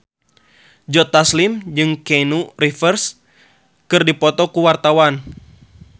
Joe Taslim jeung Keanu Reeves keur dipoto ku wartawan